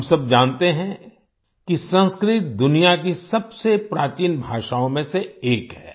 हम सब जानते हैं कि संस्कृत दुनिया की सबसे प्राचीन भाषाओँ में से एक है